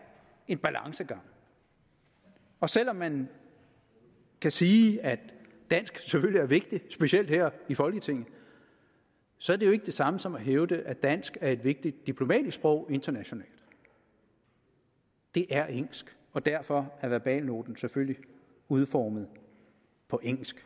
en balancegang og selv om man kan sige at dansk selvfølgelig er vigtigt specielt her i folketinget så er det jo ikke det samme som at hævde at dansk er et vigtigt diplomatisk sprog internationalt det er engelsk og derfor er verbalnoten selvfølgelig udformet på engelsk